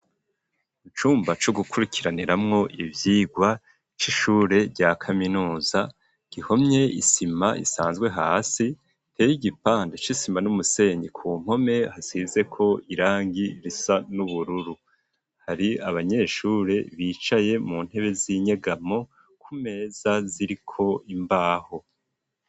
Icumba co gukurikiraniramwo ivyigwa c'ishure rya kaminuza gihomye isima isanzwe hasi iteye igipande c'isima n'umusenyi ku mpome hasizeko irangi risa n'ubururu hari abanyeshure bicaye mu ntebe z'inyegamo ku meza ziriko imbaho.